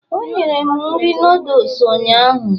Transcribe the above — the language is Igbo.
o nyere m nri noodles ụnyaahụ